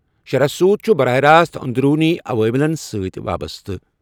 شرح سود چُھ براہ راست اندرونی عواملن سۭتۍ وابستہٕ